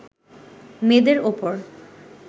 মেয়েদের ওপর